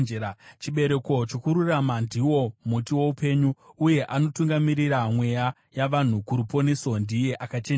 Chibereko chokururama ndiwo muti woupenyu, uye anotungamirira mweya yavanhu kuruponeso ndiye akachenjera.